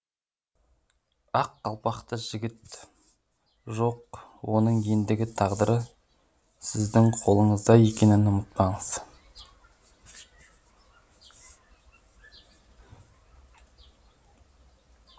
ақ қалпақты жігіт жоқ оның ендігі тағдыры сіздіңқолыңыздаекенін ұмытпаңыз